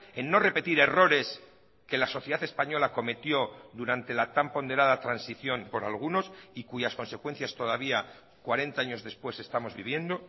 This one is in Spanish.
en no repetir errores que la sociedad española cometió durante la tan ponderada transición por algunos y cuyas consecuencias todavía cuarenta años después estamos viviendo